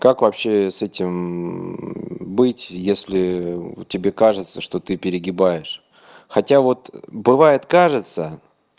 как вообще с этим быть если тебе кажется что ты перегибаешь хотя вот бывает кажется